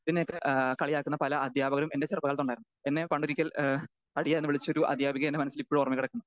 Speaker 2 പിന്നെ ക ഏഹ് കളിയാക്കുന്ന പല അധ്യാപകരും എൻ്റെ ചെറുപ്പകാലത്തുണ്ടായിരുന്നു. എന്നെ പണ്ടൊരിക്കൽ ഏഹ് തടിയാ എന്ന് വിളിച്ചൊരു അധ്യാപിക എൻ്റെ മനസ്സിൽ ഇപ്പോഴും ഓർമ്മയിൽ കിടക്കുന്നു.